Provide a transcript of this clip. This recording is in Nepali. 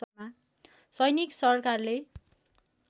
सैनिक सरकारले